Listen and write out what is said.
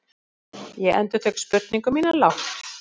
Ég endurtek spurningu mína lágt.